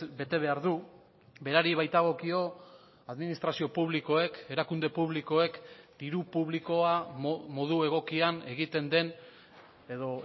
bete behar du berari baitagokio administrazio publikoek erakunde publikoek diru publikoa modu egokian egiten den edo